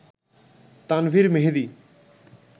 Tanvir Mehedi